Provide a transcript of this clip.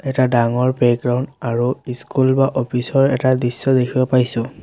এটা ডাঙৰ প্লেগ্ৰাউণ্ড আৰু ইস্কুল বা অফিচ ৰ এটা দৃশ্য দেখিব পাইছোঁ।